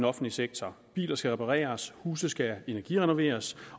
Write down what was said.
offentlige sektor biler skal repareres huse skal energirenoveres